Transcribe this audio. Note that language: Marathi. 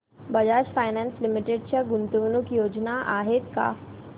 बजाज फायनान्स लिमिटेड च्या गुंतवणूक योजना आहेत का